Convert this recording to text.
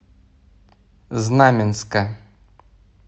знаменска